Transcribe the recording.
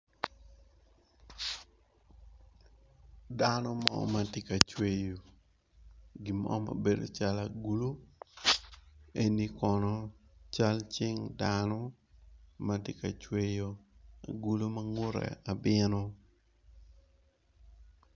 Dano mo ma tye ka cweyo gin mo ma bedo calo agulu eno kono cal cing dano ma tye ka cweyo abino